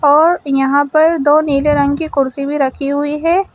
और यहां पर दो नीले रंग की कुर्सी भी रखी हुई है।